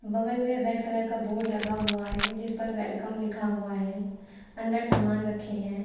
बगल में red colour का बोर्ड लगा हुआ है जिस पर वेलकम लिखा हुआ है अंदर सामान रखे हैं।